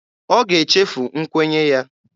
Ọ ga-echefu nkwenye ya.